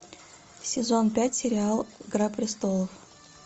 сезон пять сериал игра престолов